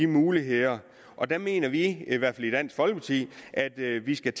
muligheder og der mener vi i hvert fald i dansk folkeparti at vi skal